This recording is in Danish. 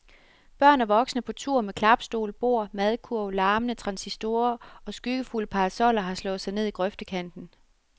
Børn og voksne på tur med klapstol, bord, madkurv, larmende transistorer og skyggefulde parasoller, har slået sig ned i grøftekanten.